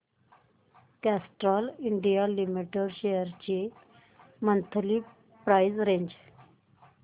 Castrol India limited shares ची monthly price range